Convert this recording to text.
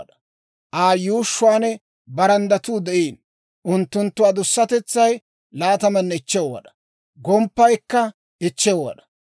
Aa yuushshuwaan baranddatuu de'iino; unttunttu adusatetsay 25 wad'aa; gomppaykka 5 wad'aa.